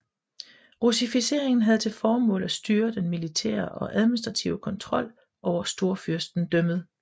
Russificeringen havde til formål at styre den militære og administrative kontrol over Storfyrstendømmet